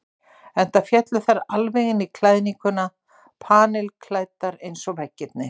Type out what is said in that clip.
Enda féllu þær alveg inn í klæðninguna, panilklæddar eins og veggirnir.